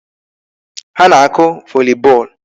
Ha na-akụ volley ball.